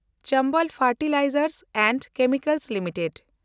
Chambal fertilisers and chemicals limited